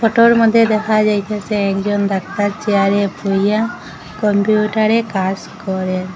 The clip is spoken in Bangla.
ফটোর মদ্যে দেখা যাইতাসে একজন ডাক্তার চেয়ারে বইয়া কম্পিউটারে কাজ করে।